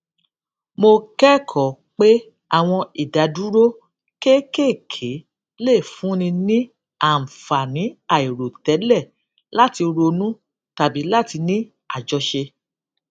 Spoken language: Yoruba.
mo kékòó pé àwọn ìdádúró kéékèèké lè fúnni ní àǹfààní àìròtélè láti ronú tàbí láti ní àjọṣe